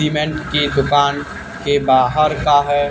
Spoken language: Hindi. सीमेंट के दुकान के बाहर का है।